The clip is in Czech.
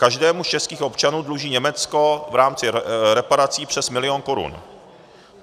Každému z českých občanů dluží Německo v rámci reparací přes milion korun.